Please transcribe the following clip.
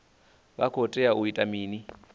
vha khou tea u ita mini